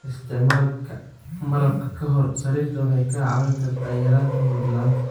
Isticmaalka malab ka hor sariirta waxay kaa caawin kartaa yaraynta hurdo la'aanta.